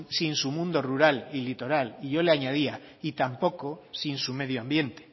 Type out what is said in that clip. sin su mundo rural y litoral y yo le añadía y tampoco sin su medio ambiente